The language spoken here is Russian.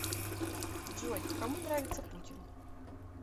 джой кому нравится путин